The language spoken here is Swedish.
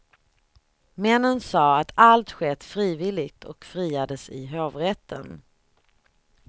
Männen sa att allt skett frivilligt och friades i hovrätten.